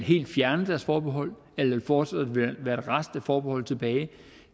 fjerne deres forbehold eller der fortsat vil være en rest af forbehold tilbage